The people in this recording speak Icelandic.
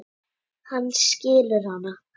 Hann skilur hana.